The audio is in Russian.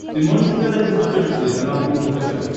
ты можешь показать на смотрешке телеканал кухня тв